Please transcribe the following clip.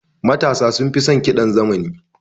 Matasa sunfi son ƙidan zamani.